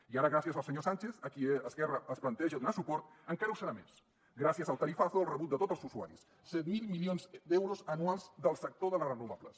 i ara gràcies al senyor sánchez a qui esquerra es planteja donar suport encara ho serà més gràcies al tarifazo al rebut de tots els usuaris set mil milions d’euros anuals del sector de les renovables